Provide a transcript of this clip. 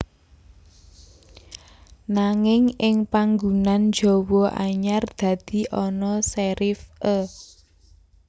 Nanging ing panggunan Jawa anyar dadi ana serif é